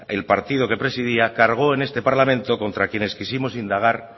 el partido que presidía cargó en este parlamento contra quienes quisimos indagar